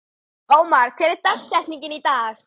Ómar, hver er dagsetningin í dag?